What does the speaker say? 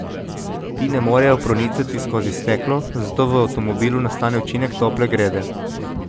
Ti ne morejo pronicati skozi steklo, zato v avtomobilu nastane učinek tople grede.